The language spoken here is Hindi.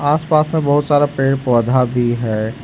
आस पास में बहुत सारा पेड़ पौधा भी है।